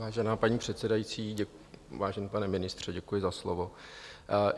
Vážená paní předsedající, vážený pane ministře, děkuji za slovo.